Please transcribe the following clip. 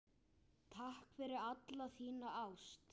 Takk fyrir alla þína ást.